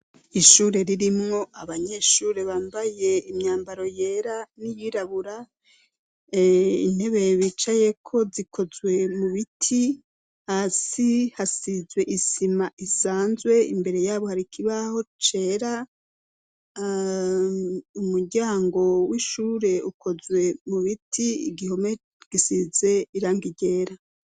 Ishure ririmwo abanyeshure bambaye imyambaro yera n'iyirabura, intebe bicayeko zikozwe mu biti, hasi hasizwe isima isanzwe, imbere y'abo hari ikibaho cera, umuryango w'ishure ukozwe mu biti, igihome gisize irangi ryera.